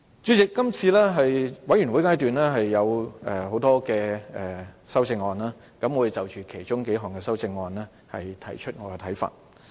主席，今次全體委員會階段有很多修正案，我會就其中數項修正案提出我的看法。